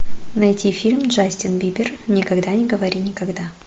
найти фильм джастин бибер никогда не говори никогда